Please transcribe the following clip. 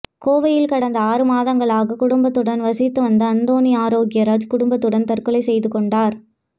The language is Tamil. கோவையில் கடந்த ஆறு மாதங்களாக குடும்பத்துடன் வசித்து வந்த அந்தோணி ஆரோக்கியராஜ் குடும்பத்துடன் தற்கொலை செய்து கொண்டார்